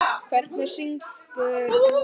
Hver syngur með sínu nefi.